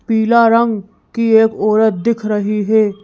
पीला रंग की एक औरत दिख रही है।